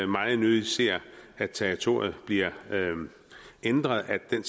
meget nødigt ser at territoriet bliver ændret at den